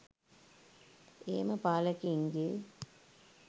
එහෙම පාලකයින්ගේ